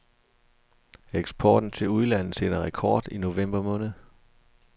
Eksporten til udlandet satte rekord i november måned.